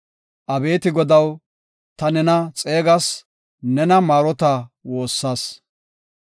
Abeeti Godaw, ta nena xeegas; nena maarota woossas;